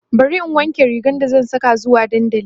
bari in wanke rigar da zan Saka zuwa dandali